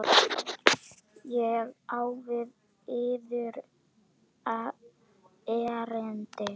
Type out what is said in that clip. Ég á við yður erindi.